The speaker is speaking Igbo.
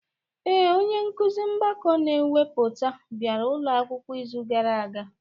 Ee, onye nkuzi mgbakọ na mwepụ bịara ụlọ akwụkwọ izu gara aga.